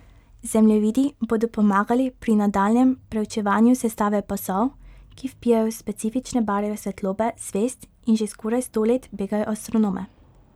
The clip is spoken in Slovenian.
Zemljevidi bodo pomagali pri nadaljnjem preučevanju sestave pasov, ki vpijajo specifične barve svetlobe zvezd in že skoraj sto let begajo astronome.